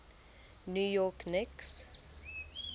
new york knicks